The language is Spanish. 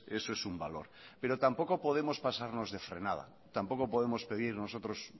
eso es un valor pero tampoco podemos pasarnos de frenada tampoco podemos pedir nosotros